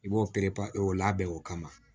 I b'o pere o labɛn o kama